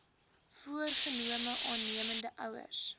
voorgenome aannemende ouers